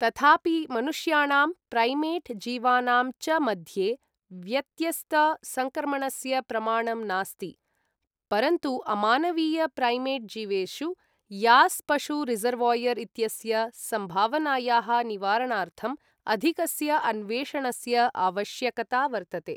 तथापि, मनुष्याणां प्रैमेट् जीवानां च मध्ये व्यत्यस्त सङ्क्रमणस्य प्रमाणं नास्ति, परन्तु अमानवीय प्रैमेट् जीवेषु यॉस् पशु रिसर्वोयर् इत्यस्य सम्भावनायाः निवारणार्थम् अधिकस्य अन्वेषणस्य आवश्यकता वर्तते।